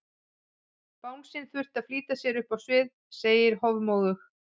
Bangsinn þurfti að flýta sér upp á svið, segi ég hofmóðug.